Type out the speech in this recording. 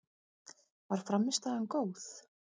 Var frammistaðan góð?